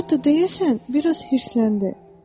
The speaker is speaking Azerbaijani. Hətta deyəsən biraz hirsləndi.